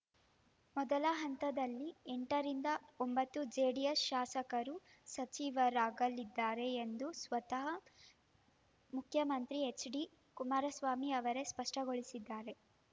ಮೊದಲ ಹಂತದಲ್ಲಿ ಎಂಟರಿಂದ ಒಂಬತ್ತು ಜೆಡಿಎಸ್‌ ಶಾಸಕರು ಸಚಿವರಾಗಲಿದ್ದಾರೆ ಎಂದು ಸ್ವತಃ ಮುಖ್ಯಮಂತ್ರಿ ಎಚ್‌ಡಿಕುಮಾರಸ್ವಾಮಿ ಅವರೇ ಸ್ಪಷ್ಟಪಡಿಸಿದ್ದಾರೆ